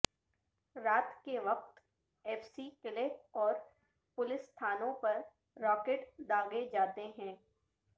رات کے وقت ایف سی قلعہ اور پولیس تھانوں پر راکٹ داغے جاتے ہیں